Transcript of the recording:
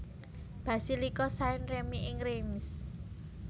Basilika Saint Remi ing Reims